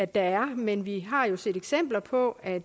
der men vi har jo set eksempler på at